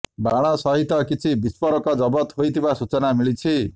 ବାଣ ସହିତ କିଛି ବିସ୍ଫୋରକ ଜବତ ହୋଇଥିବା ସୂଚନା ମିଳିଛି